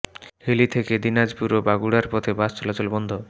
হিলি থেকে দিনাজপুর ও বগুড়ার পথে বাস চলাচল বন্ধ